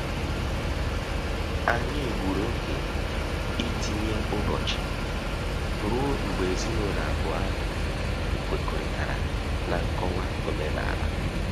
Anyị gburu oge itinye ụbọchị rue mgbe ezinụlọ abụọ ahụ kwekọrịta na nkọwa omenala